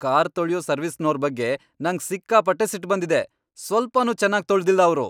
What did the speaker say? Car ತೊಳ್ಯೋ ಸರ್ವಿಸ್ನೋರ್ ಬಗ್ಗೆ ನಂಗ್ ಸಿಕ್ಕಾಪಟ್ಟೆ ಸಿಟ್ಟ್ ಬಂದಿದೆ, ಸ್ವಲ್ಪನೂ ಚೆನಾಗ್ ತೊಳ್ದಿಲ್ಲ ಅವ್ರು.